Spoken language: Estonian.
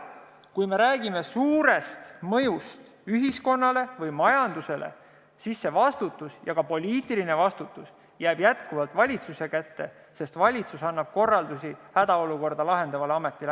Kui me räägime suurest mõjust ühiskonnale või majandusele, siis vastutus – ja ka poliitiline vastutus – jääb jätkuvalt valitsuse kätte, sest valitsus annab korraldusi hädaolukorda lahendavale ametile.